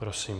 Prosím.